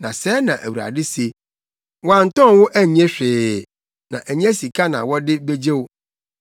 Na sɛɛ na Awurade se: “Wɔantɔn wo annye hwee, na ɛnyɛ sika na wɔde begye wo.”